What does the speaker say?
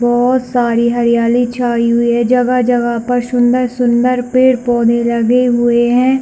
बहुत सारी हरियाली छाई हुई है जगह -जगह पर सुन्दर-सुन्दर पेड़ - पौधे लगे हुए है।